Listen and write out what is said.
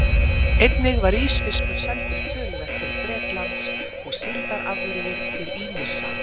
Einnig var ísfiskur seldur töluvert til Bretlands og síldarafurðir til ýmissa